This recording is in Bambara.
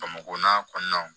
Bamakɔ n'a kɔnɔnaw